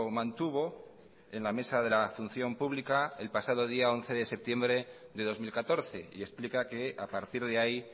mantuvo en la mesa de la función pública el pasado día once de septiembre de dos mil catorce y explica que a partir de ahí